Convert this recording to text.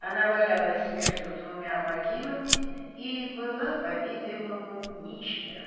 она валялась между двумя могилами и была по-видимому ничья